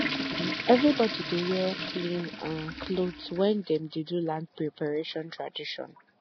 everybody dey wear clean um cloth when dem dey do land preparation tradition